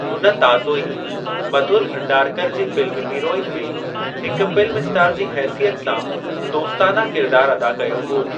हुन ताज़ो ई मधुर भंडारकर जी फ़िल्म हीरोइन में हिक फ़िल्म स्टार जी हेसियत सां दोस्ताना किरिदारु अदा कयो हो।